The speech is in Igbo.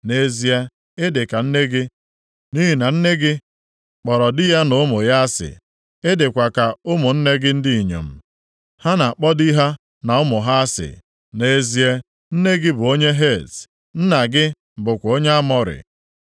Nʼezie, ị dị ka nne gị, nʼihi na nne gị kpọrọ di ya na ụmụ ya asị. Ị dịkwa ka ụmụnne gị ndị inyom. Ha na-akpọ di ha na ụmụ ha asị. Nʼezie, nne gị bụ onye Het, nna gị bụkwa onye Amọrị.